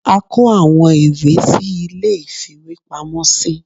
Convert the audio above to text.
a kọ awọn ìwé sí ìlé ìfíwepámọ sí.